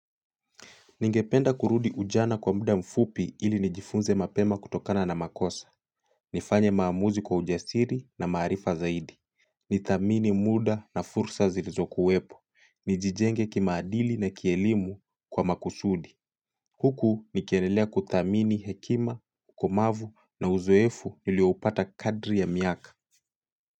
Ningependa kurudi ujana kwa muda mfupi ili nijifunze mapema kutokana na makosa. Nifanye maamuzi kwa ujasiri na maarifa zaidi. Nithamini muda na fursa zilizokuwepo. Nijijenge kimaadili na kielimu kwa makusudi. Huku nikiendelea kuthamini hekima, ukomavu na uzoefu nilioupata kadri ya miaka.